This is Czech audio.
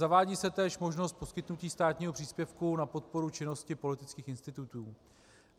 Zavádí se též možnost poskytnutí státního příspěvku na podporu činnosti politických institutů.